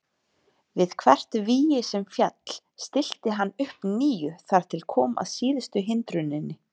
Við hvert vígi sem féll stillti hann upp nýju þar til kom að síðustu hindruninni.